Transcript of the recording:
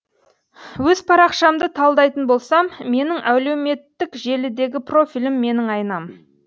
өз парақшамды талдайтын болсам менің әлеуметтік желідегі профилім менің айнам